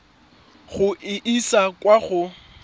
go e isa kwa go